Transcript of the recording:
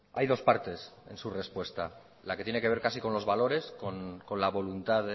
hay dos partes en su respuesta la que tiene que ver casi con los valores con la voluntad